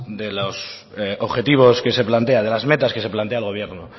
de los objetivos que se plantea de las metas que se plantea el gobierno